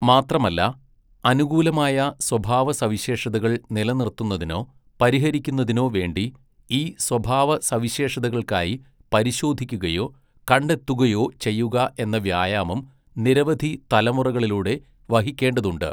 മാത്രമല്ല, അനുകൂലമായ സ്വഭാവസവിശേഷതകൾ നിലനിർത്തുന്നതിനോ പരിഹരിക്കുന്നതിനോ വേണ്ടി ഈ സ്വഭാവസവിശേഷതകൾക്കായി പരിശോധിക്കുകയോ കണ്ടെത്തുകുയോ ചെയ്യുക എന്ന വ്യായാമം നിരവധി തലമുറകളിലൂടെ വഹിക്കേണ്ടതുണ്ട്.